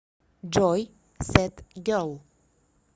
джой сэд герл